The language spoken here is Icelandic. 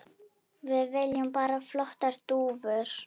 Við viljum bara flottar dúfur.